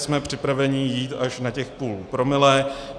Jsme připraveni jít až na těch půl promile.